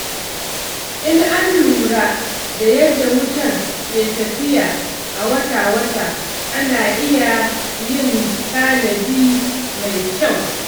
Idan an lura da yadda wutar ke tafiya a wata-wata, ana iya yin tanadi mai kyau.